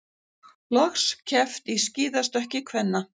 Loks keppt í skíðastökki kvenna